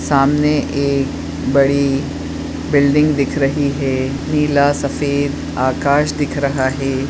सामने एक बड़ी बिल्डिंग दिख रही है नीला सफ़ेद आकाश दिख रहा है।